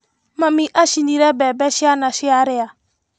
Mami acinire mbembe ciana ciarĩa.